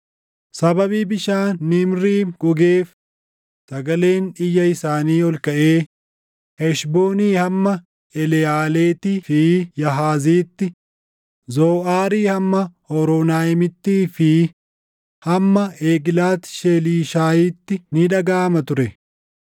“Sababii bishaan Niimriim gogeef, sagaleen iyya isaanii ol kaʼee, Heshboonii hamma Eleʼaaleettii fi Yaahaziitti, Zoʼaarii hamma Hooronaayimittii fi hamma Eglaati Sheelishiyaatti // ni dhagaʼama ture.